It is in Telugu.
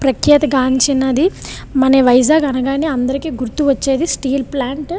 ప్రత్యేక గాంచినది మన వైజాగ్ అనగానే అందరికి గుర్తుకు వచ్చేది స్టీల్ ప్లాంట్ --